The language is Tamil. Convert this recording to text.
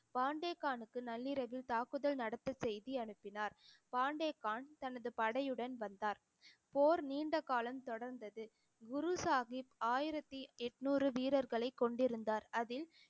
பெண்டே கானுக்கு நள்ளிரவில் தாக்குதல் நடத்த செய்தி அனுப்பினார். பெண்டே கான் தனது படையுடன் வந்தார் போர் நீண்ட காலம் தொடர்ந்தது. குரு சாஹிப் ஆயிரத்தி எட்நூறு வீரர்களை கொண்டிருந்தார் அதில்